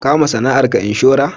Ka ma sana'ar ka inshora?